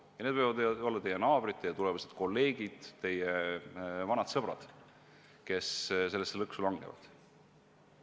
Ja need võivad olla teie naabrid, teie tulevased kolleegid, teie vanad sõbrad, kes sellesse lõksu langevad.